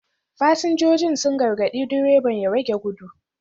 Fasinjojin sun gargadi direban ya rage gudu